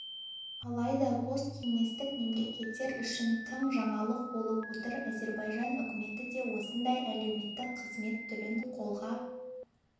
алайда посткеңестік мемлекеттер үшін тың жаңалық болып отыр әзербайжан үкіметі де осындай әлеуметтік қызмет түрін қолға